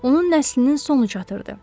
Onun nəslinin sonu çatırdı.